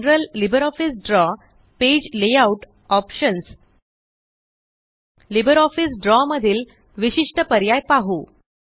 general LibreOffice drawपेज layoutऑप्शन्स LibreOffice Draw मधील विशिष्ट पर्याय पाहू